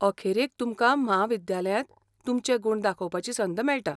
अखेरेक तुमकां म्हाविद्यालयांत तुमचे गुण दाखोवपाची संद मेळटा.